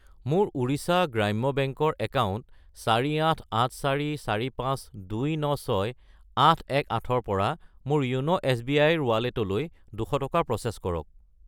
মোৰ ওড়িশা গ্ৰাম্য বেংক ৰ একাউণ্ট 48,84,45,296,818 ৰ পৰা মোৰ য়োন' এছ.বি.আই. ৰ ৱালেটলৈ 200 টকা প্ৰ'চেছ কৰক।